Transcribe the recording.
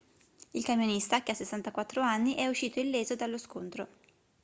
il camionista che ha 64 anni è uscito illeso dallo scontro